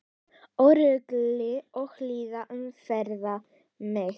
Öryggi og hlýja umvefja mig.